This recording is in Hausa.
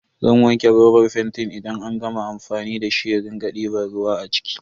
Zan wanke robar fentin idan an gama amfani da shi in rike diban ruwa a ciki.